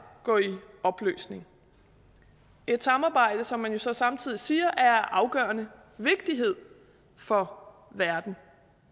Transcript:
gå i opløsning et samarbejde som man jo så samtidig siger er af afgørende vigtighed for verden